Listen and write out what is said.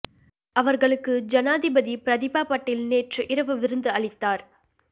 அவர்களுக்கு ஜனாதிபதி பிரதீபா பட்டீல் நேற்று இரவு விருந்து அளித்தார்